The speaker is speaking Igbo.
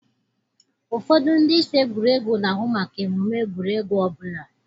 Ụfọdụ ndị isi egwuregwu na-ahụ maka emume egwuregwu ọbụla.